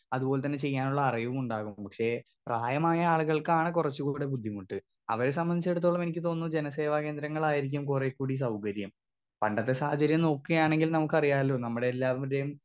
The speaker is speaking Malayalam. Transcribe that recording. സ്പീക്കർ 2 അത് പോലെത്തന്നെ ചെയ്യാനുള്ള അറിവും ഉണ്ടാവും പക്ഷെ പ്രായമായ ആളുകൾക്കാണ് കുറച്ചു കൂടി ബുദ്ധിമുട്ട് അവരെ സംബന്ധിച്ചേടത്തോളം എനിക്ക് തോന്നുന്നു ജനസേവാ കേന്ദ്രങ്ങളായിരിക്കും കുറേ കൂടി സൗകര്യം പണ്ടത്തെ സാഹചര്യം നോക്കയാണെങ്കിൽ നമുക്കറിയാല്ലോ നമ്മുടെയെല്ലാവർടേം.